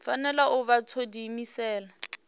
fanela u vha tsho diimisela